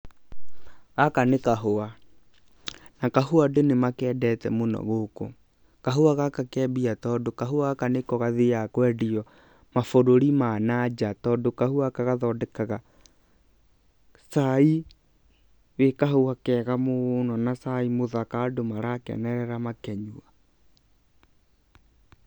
Gaka nĩ kahũa na kahũa, andũ nĩ makendete mũno gũkũ. Kahũa gaka ke mbia tondũ kahũa gaka nĩko gathiaga kwendio mabũrũri ma na nja tondũ kahũa gaka gathondekaga cai wĩ kahũa kega mũno na cai mũthaka andũ marakenerera makĩnyua.